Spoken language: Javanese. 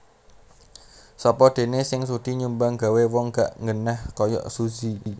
Sopo dene sing sudi nyumbang gawe wong gak nggenah koyok Suzy